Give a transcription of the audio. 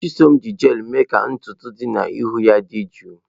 Chisom ji jel mee ka ntutu dị n'ihu ya dị jụụ.